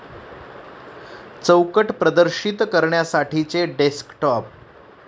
चौकट प्रदर्शित करण्यासाठीचे डेस्कटॉप